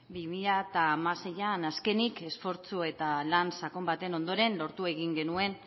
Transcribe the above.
bi mila hamaseian azkenik esfortzu eta lan sakon baten ondoren lortu egin genuen